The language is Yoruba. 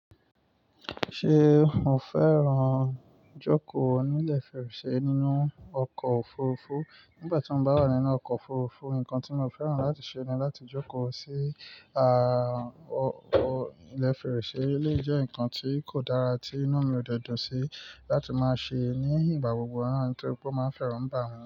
Ṣé mo fẹ́ràn jókòó ní ilẹ̀ fèrèsé nínú ọkọ̀ òfurufú? Nígbà tí mo bá wà nínú ọkọ̀ òfurufú, nǹkan tí mo fẹ́ràn láti ṣe ni láti jókòó sí, à, ọkọ̀ ilẹ̀ fèrèsé. Eléyìí jẹ́ ǹkan tí kò dára tí inu mi ò dẹ̀ dún sí láti máa ṣe ní ìgbà gbogbo náà torí pé ó máa ń fẹ́ràn bá mi.